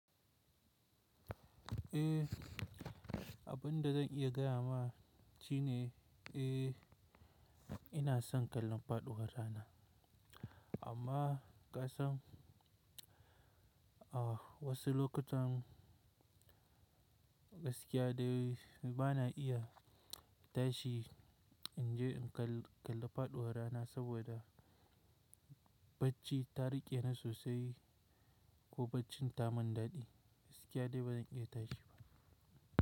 Eh, abunda zan iya gaya maki ne, eh ina son kallon faɗuwar rana amma kasan, ah wasu lokutan gaskiya dai ba na iya tashi in je in kal-kalla faɗuwar rana saboda bacci ta rike ni sosai ko baccin ta mandaɗi, gaskiya dai ba zan iya tashi ba.